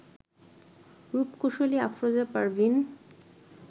রূপকুশলী Afroza Parvin